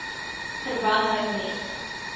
verband hou met